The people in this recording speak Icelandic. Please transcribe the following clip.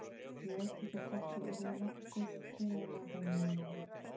Ég veit ekki hvort ég yrði nokkuð hrifinn af henni núna.